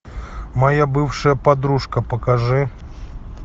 моя бывшая подружка покажи